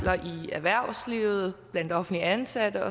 erhvervslivet blandt offentligt ansatte